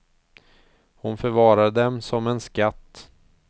Hon förvarade dem som en skatt.